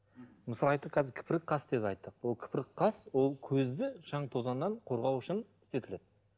мысалы айттық қазір қас деп айттық ол қас ол көзді шаң тозаңнан қорғау үшін істетіледі